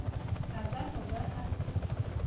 a ka no ba a